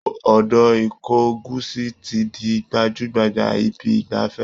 Odò ìkogusi ti di gbajú-gbajà ibi ìgbafẹ́